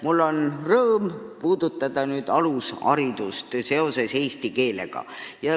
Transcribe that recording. Mul on rõõm rääkida nüüd alusharidusest seoses eesti keelega.